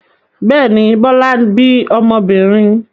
Bẹ́ẹ̀ ni, Bọ́lá bí ọmọbìnrin.